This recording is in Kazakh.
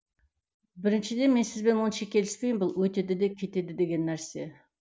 біріншіден мен сізбен онша келіспеймін бұл өтеді де кетеді деген нәрсе